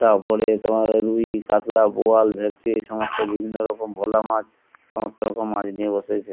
তারপরে তোমার রুই কাতলা বোয়াল ভেটকি এই সমস্ত বিভিন্ন রকম ভোলা মাছ সমস্ত রকম মাছ নিয়ে বসেছে।